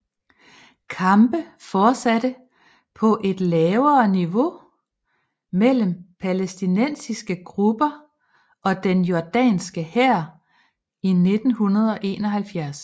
Kampe fortsatte på et lavere niveau mellem palæstinensiske grupper og den jordanske hær i 1971